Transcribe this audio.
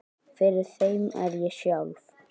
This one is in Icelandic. Fyrir þeim er ég sjálf